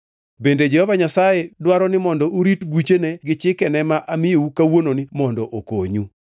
Bende Jehova Nyasaye dwaro ni mondo urit buchene gi chikene ma amiyou kawuononi mondo okonyu.